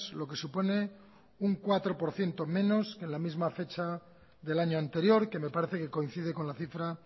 lo que supone un cuatro por ciento menos en misma fecha del año anterior que me parece que coincide con la cifra